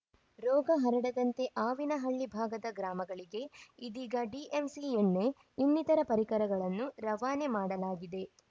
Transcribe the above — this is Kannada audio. ರೋಗ ಹರಡದಂತೆ ಆವಿನಹಳ್ಳಿ ಭಾಗದ ಗ್ರಾಮಗಳಿಗೆ ಇದೀಗ ಡಿಎಂಸಿ ಎಣ್ಣೆ ಇನ್ನಿತರ ಪರಿಕರಗಳನ್ನು ರವಾನೆ ಮಾಡಲಾಗಿದೆ